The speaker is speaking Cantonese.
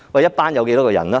一班有多少人？